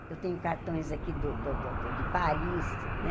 Eu tenho cartões aqui do do do de Paris, né?